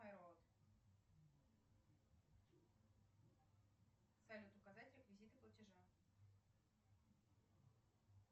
салют указать реквизиты платежа